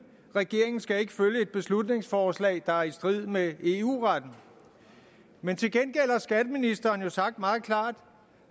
regeringen skal ikke følge et beslutningsforslag der er i strid med eu retten men til gengæld har skatteministeren jo sagt meget klart